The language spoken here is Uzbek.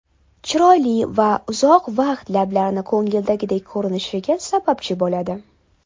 Chiroyli va uzoq vaqt lablarni ko‘ngildagidek ko‘rinishiga sababchi bo‘ladi.